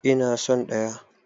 Eh ina son ɗaya.